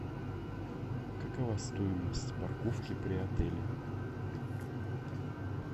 какова стоимость парковки при отеле